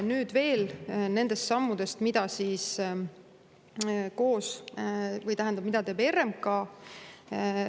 Nüüd veel nendest sammudest, mida teeb RMK.